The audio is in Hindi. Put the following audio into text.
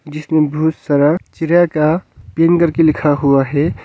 जिसमें बहुत सारा चिड़िया का पिन करके लिखा हुआ है।